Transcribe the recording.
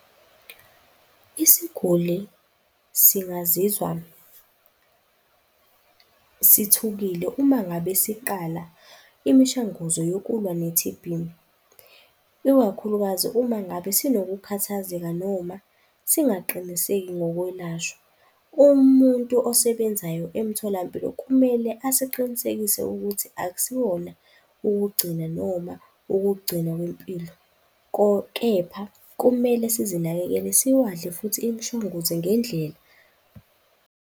Isiguli singazizwa sithukile uma ngabe siqala imishanguzo yokulwa ne-T_B, ikakhulukazi uma ngabe sinokukhathazeka noma singaqiniseki ngokwelashwa. Umuntu osebenzayo emtholampilo kumele asiqinisekise ukuthi akusiwona ukugcina noma ukugcina kwempilo, kepha kumele sizinakekele, siwadle futhi imishanguze ngendlela.